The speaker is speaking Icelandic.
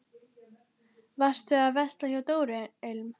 Varstu að versla hjá Dóru ilm?